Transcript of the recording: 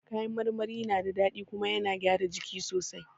Ka yan marmari na da daɗi kuma yana gyara jiki sosai